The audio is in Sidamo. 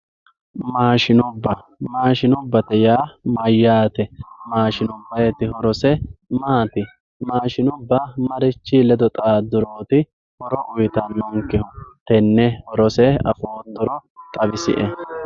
Maashinubba, maashinubbate yaa mayyate, maashinubbayiti horose maati, maashinubba marchi ledo xaaduroti horo uyittanonkehu ,tenne horose afoottoro xawisie !!